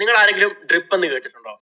നിങ്ങളാരെങ്കിലും DRIP എന്ന് കേട്ടിട്ടുണ്ടോ?